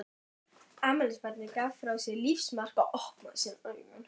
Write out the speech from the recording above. Afmælisbarnið gaf frá sér lífsmark og opnaði síðan augun.